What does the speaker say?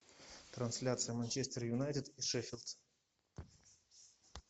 трансляция манчестер юнайтед и шеффилд